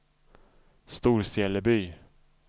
Storseleby